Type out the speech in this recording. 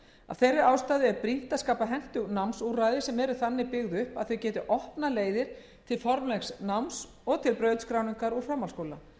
þeirri ástæðu er brýnt að skapa hentug námsúrræði sem eru þannig byggð upp að þau geti opnað leiðir til formlegs náms og til brautskráningar úr framhaldsskóla